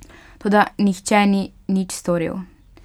Toda nihče ni nič storil.